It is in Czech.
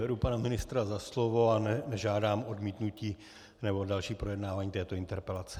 Beru pana ministra za slovo a nežádám odmítnutí nebo další projednávání této interpelace.